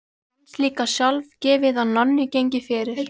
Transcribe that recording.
Fannst líka sjálfgefið að Nonni gengi fyrir.